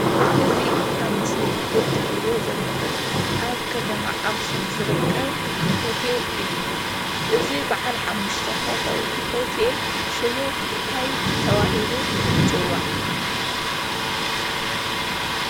እዚ ኣብ ምስሊ እትርእዎ ዘለኹም ኣብ ከተማ ኣኽሱም ዝርከብ ሆቴል እዩ ።እዚ ባዓል 5ተ ኾኾው ሆቴል ሽሙ እንታይ ተባሂሉ ይፅዋዕ?